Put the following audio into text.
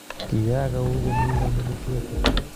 Kiak au komi kandoindet Kiwete?